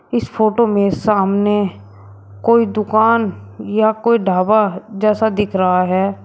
इस फोटो में सामने कोई दुकान या कोई ढाबा जैसा दिख रहा है।